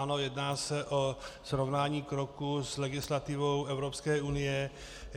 Ano, jedná se o srovnání kroku s legislativou Evropské unie.